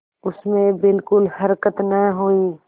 उसमें बिलकुल हरकत न हुई